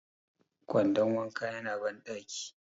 kwandon wanka yana bandaki